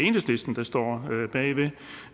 enhedslisten der står